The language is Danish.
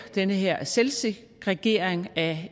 den her selvsegregering af